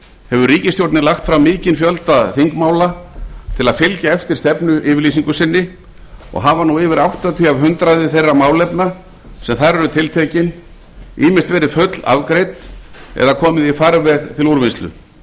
hefur ríkisstjórnin lagt fram mikinn fjölda þingmála til að fylgja eftir stefnuyfirlýsingu sinni og hafa nú yfir áttatíu prósent þeirra málefna sem þar eru tiltekin ýmist verið fullafgreidd eða komið í farveg til úrvinnslu